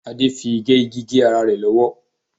Adé fi igẹ igi gé ara rẹ̀ lọ́wọ́.